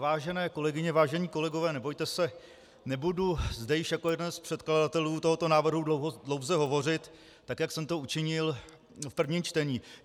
Vážené kolegyně, vážení kolegové, nebojte se, nebudu zde již jako jeden z předkladatelů tohoto návrhu dlouze hovořit tak, jak jsem to učinil v prvním čtení.